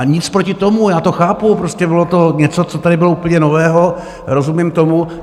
A nic proti tomu, já to chápu, prostě bylo to něco, co tady bylo úplně nového, rozumím tomu.